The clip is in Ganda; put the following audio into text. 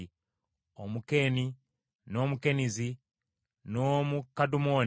Omukeeni, n’Omukenizi, n’Omukadumoni,